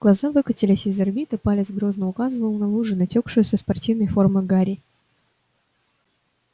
глаза выкатились из орбит а палец грозно указывал на лужу натёкшую со спортивной формы гарри